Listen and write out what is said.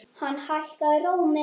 Hann hækkaði róminn.